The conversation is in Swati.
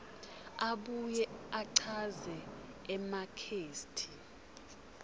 abuye achaze ematheksthi